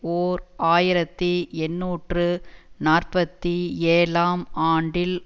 ஓர் ஆயிரத்தி எண்ணூற்று நாற்பத்தி ஏழாம் ஆண்டில்